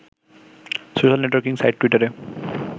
social networking site টুইটারে